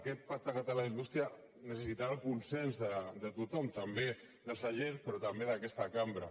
aquest pacte català de la indústria necessitarà el consens de tothom també dels agents però també d’aquesta cambra